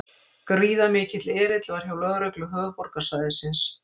Gríðarmikill erill var hjá lögreglu höfuðborgarsvæðisins